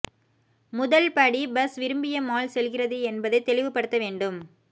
முதல் படி பஸ் விரும்பிய மால் செல்கிறது என்பதை தெளிவுபடுத்த வேண்டும்